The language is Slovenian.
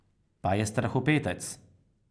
Pa je strahopetec.